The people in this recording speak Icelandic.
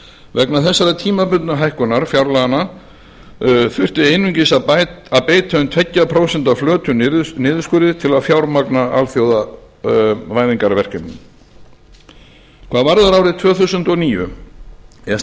vegna þessarar tímabundnu hækkunar fjárlaganna þurfti einungis að beita um tveggja prósenta flötum niðurskurði til að fjármagna alþjóðavæðingarverkefnin hvað varðar árið tvö þúsund og níu er